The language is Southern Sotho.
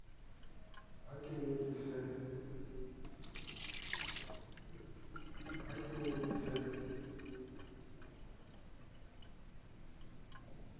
ha ke ne ke se